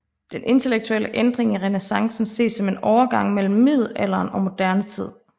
Den intellektuelle ændring i renæssancen ses som en overgang mellem middelalderen og moderne tid